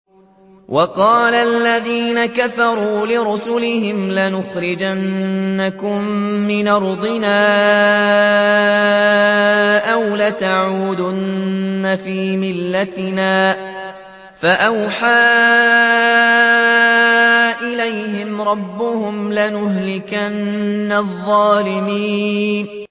وَقَالَ الَّذِينَ كَفَرُوا لِرُسُلِهِمْ لَنُخْرِجَنَّكُم مِّنْ أَرْضِنَا أَوْ لَتَعُودُنَّ فِي مِلَّتِنَا ۖ فَأَوْحَىٰ إِلَيْهِمْ رَبُّهُمْ لَنُهْلِكَنَّ الظَّالِمِينَ